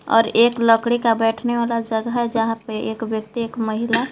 और एक लकड़ी का बैठने वाला जगह है जहां पर एक व्यक्ति एक महिला--